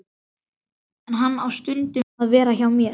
En hann á stundum að vera hjá mér.